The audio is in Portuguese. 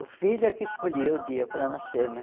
O filho é que escolheu o dia para nascer, né?